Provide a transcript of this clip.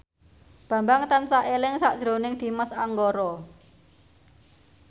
Bambang tansah eling sakjroning Dimas Anggara